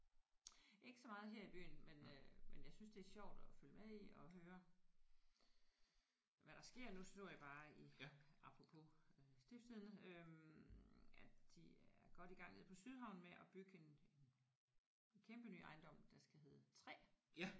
Ikke så meget her i byen men øh men jeg synes det er sjovt at følge med i og høre hvad der sker. Nu så jeg bare i apropos øh Stiftstidende øh at de er godt i gang nede på Sydhavnen med at bygge en en kæmpe ny ejendom der skal hedde 3